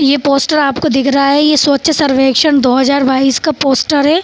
ये पोस्टर आपको दिख रहा है ये स्वच्छ सर्वेक्षण दो हजार बाइस का पोस्टर है।